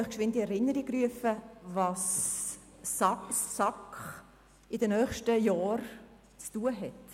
Ich möchte Ihnen schnell noch in Erinnerung rufen, was die SAK in den nächsten Jahren zu tun hat.